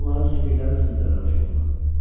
Mən onların sümüklərini sındıraram çubuqla.